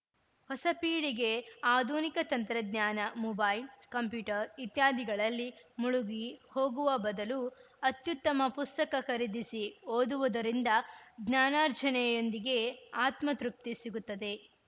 ಹೊಸ ಪೀಳಿಗೆ ಆಧುನಿಕ ತಂತ್ರಜ್ಞಾನ ಮೊಬೈಲ್‌ ಕಂಪ್ಯೂಟರ್‌ ಇತ್ಯಾದಿಗಳಲ್ಲಿ ಮುಳುಗಿ ಹೋಗುವ ಬದಲು ಅತ್ಯುತ್ತಮ ಪುಸ್ತಕ ಖರೀದಿಸಿ ಓದುವುದರಿಂದ ಜ್ಞಾನಾರ್ಜನೆಯೊಂದಿಗೆ ಆತ್ಮ ತೃಪ್ತಿ ಸಿಗುತ್ತದೆ